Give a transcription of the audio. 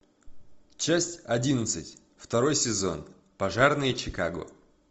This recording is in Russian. часть одиннадцать второй сезон пожарные чикаго